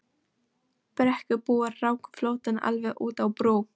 Brekkubúar ráku flóttann alveg út á brú.